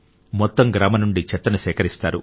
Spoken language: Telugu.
మొత్తం గ్రామం నుండి చెత్తను సేకరిస్తారు